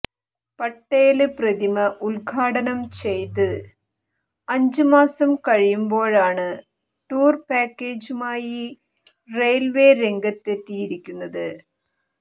പട്ടേല് പ്രതിമ ഉദ്ഘാടനം ചെയ്ത് അഞ്ച് മാസം കഴിയുമ്പോഴാണ് ടൂര് പാക്കേജുമായി റെയില്വേ രംഗത്തെത്തിയിരിക്കുന്നത്